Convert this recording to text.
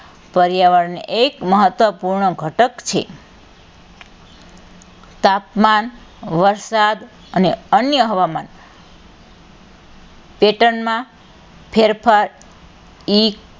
પર્યાવરણ એક મહત્વપૂર્ણ ઘટક છે તાપમાન, વરસાદ અને અન્ય હવામાન pattern માં ફેરફાર ઇક,